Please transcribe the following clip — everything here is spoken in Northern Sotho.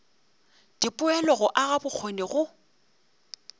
dipoelo go aga bokgoni go